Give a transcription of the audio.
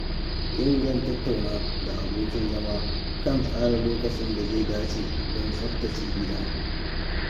Yau zan tattauna da abokin zama kan tsara lokacin da zai dace don tsaftace gida.